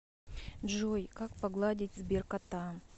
джой как погладить сберкота